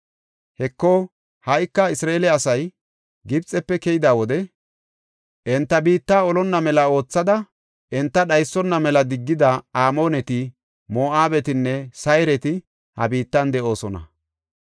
“Heko, ha77ika, Isra7eele asay Gibxefe keyida wode, enta biitta olonna mela oothada enta dhaysona mela diggida Amooneti, Moo7abetinne Sayreti ha biittan de7oosona.